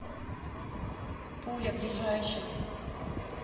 пуля ближайший